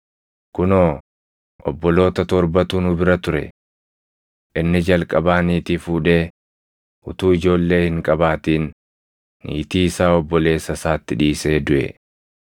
Kunoo obboloota torbatu nu bira ture. Inni jalqabaa niitii fuudhee utuu ijoollee hin qabaatin niitii isaa obboleessa isaatti dhiisee duʼe.